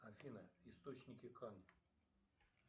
афина источники кан